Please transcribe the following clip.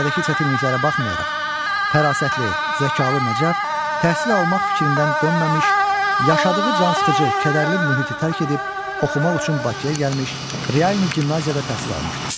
Ailədəki çətinliklərə baxmayaraq, fərasətli, zəkalı Nəcəf təhsil almaq fikrindən dönməmiş, yaşadığı cansıxıcı, kədərli mühiti tərk edib oxumaq üçün Bakıya gəlmiş, Realni gimnaziyada təhsil almışdır.